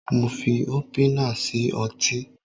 mo fi opener sí ọtí